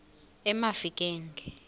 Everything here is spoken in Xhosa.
emafikeng